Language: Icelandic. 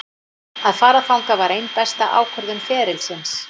Að fara þangað var ein besta ákvörðun ferilsins.